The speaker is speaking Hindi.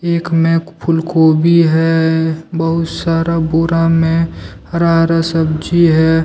एक में ख फूल गोभी है। बहुत सारा बोरा में हरा हरा सब्जी है।